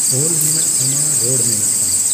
ᱚᱞ ᱢᱮᱱᱟᱜ ᱛᱟᱢᱟ, ᱨᱚᱲ ᱢᱮᱱᱟᱜ ᱛᱟᱢᱟ ᱾᱾